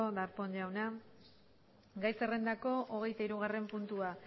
darpón jauna gai zerrendako hogeita hirugarren puntua